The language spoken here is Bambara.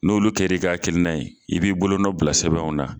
N'olu kɛra i ka akilina ye i b'i bolo nɔ bila sɛbɛnw na